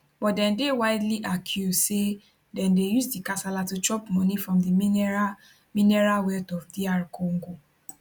but dem dey widely accused say dem dey use di kasala to chop money from di mineral mineral wealth of dr congo